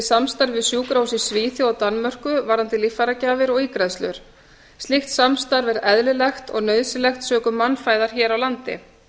samstarfi við sjúkrahús í svíþjóð og danmörku varðandi líffæragjafir og ígræðslur slíkt samstarf er eðlilegt og nauðsynlegt sökum mannfæðar hér á landi